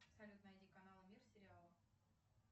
салют найди канал мир сериалы